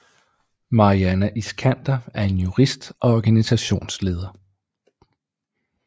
Maryana Iskander er en jurist og organisationsleder